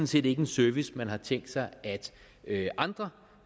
set ikke en service man har tænkt sig at andre